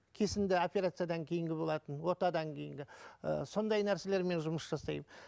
кесінді операциядан кейінгі болатын отадан кейінгі ы сондай нәрселермен жұмыс жасаймын